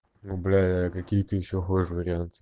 ну бля а какие ты ещё хочешь варианты